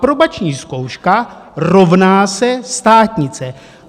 Aprobační zkouška rovná se státnice.